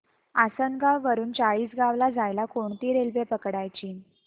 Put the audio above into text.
आसनगाव वरून चाळीसगाव ला जायला कोणती रेल्वे पकडायची